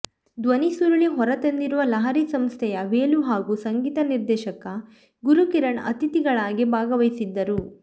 ಧ್ವನಿಸುರುಳಿ ಹೊರತಂದಿರುವ ಲಹರಿ ಸಂಸ್ಥೆಯ ವೇಲು ಹಾಗೂ ಸಂಗೀತ ನಿರ್ದೇಶಕ ಗುರುಕಿರಣ್ ಅತಿಥಿಗಳಾಗಿ ಭಾಗವಹಿಸಿದ್ದರು